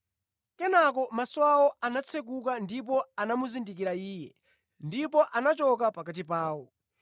Kenaka maso awo anatsekuka ndipo anamuzindikira Iye, ndipo anachoka pakati pawo.